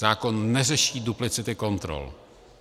Zákon neřeší duplicity kontrol.